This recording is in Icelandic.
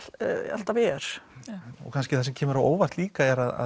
alltaf er kannski það sem kemur á óvart líka er að